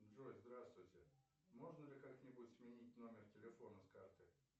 джой здравствуйте можно ли как нибудь сменить номер телефона с карты